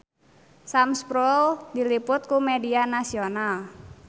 Sam Spruell diliput ku media nasional